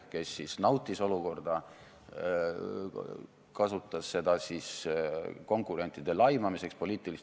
Meil on siin juhtivkomisjoni ettepanek eelnõu 130 esimene lugemine lõpetada.